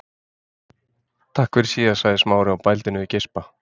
Takk fyrir síðast sagði Smári og bældi niður geispa.